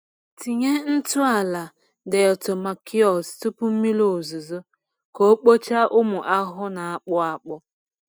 Tinye ntụ ala diatomaceous tupu mmiri ozuzo ka o kpochaa ụmụ ahụhụ na-akpụ akpụ.